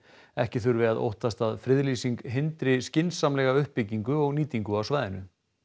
ekki þurfi að óttast að friðlýsing hindri skynsamlega uppbyggingu og nýtingu á svæðinu